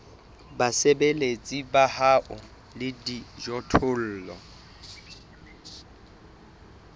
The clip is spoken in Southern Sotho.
basebeletsi ba hao le dijothollo